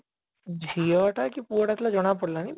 ଝିଅ ଟା କି ପୁଅ ଟା ଥିଲା ଜଣା ପଡ଼ିଲାଣି